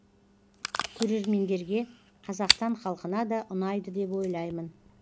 көрермендерге қазақстан халқына да ұнайды деп ойлаймын